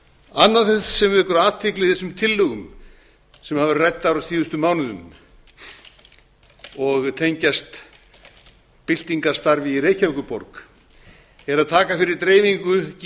annað sem athygli vekur í þessum tillögum sem hafa verið ræddar á síðustu mánuðum og tengjast byltingarstarfi í reykjavíkurborg er að taka